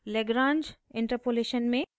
lagrange interpolation में